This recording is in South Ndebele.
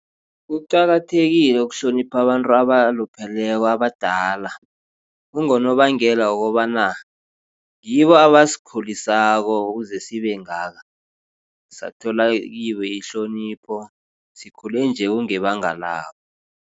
Kuqakathekile ukuhlonipha abantu abalupheleko abadala. Kungonobangela wokobana ngibo abasikhulisako ukuze sibe ngaka. Sathola kibo ihlonipho sikhule nje kungebanga labo.